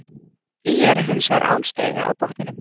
ÍR er hins vegar án stiga á botninum.